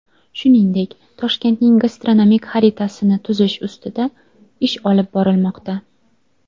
Shuningdek, Toshkentning gastronomik xaritasini tuzish ustida ish olib borilmoqda.